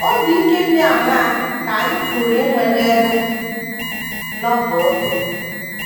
Obi ike dị aṅaa ka anyị pụrụ inwe n’ebe Novel dị?